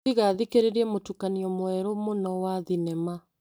Tiga thikĩrĩrie mũtukanio mweru mũno wa thinema.